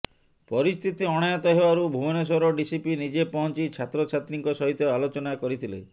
ପରିସ୍ଥିତି ଅଣାୟତ୍ତ ହେବାରୁ ଭୁବନେଶ୍ୱର ଡିସିପି ନିଜେ ପହଞ୍ଚି ଛାତ୍ରଛାତ୍ରୀଙ୍କ ସହିତ ଆଲୋଚନା କରିଥିଲେ